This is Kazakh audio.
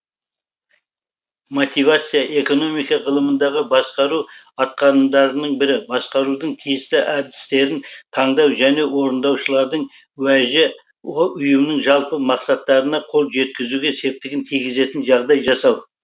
мотивация экономика ғылымындағы басқару атқарымдарының бірі басқарудың тиісті әдістерін таңдау және орындаушылардың уәжі ұйымның жалпы мақсаттарына қол жеткізуге септігін тигізетін жағдай жасау